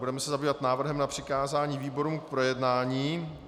Budeme se zabývat návrhem na přikázání výborům k projednání.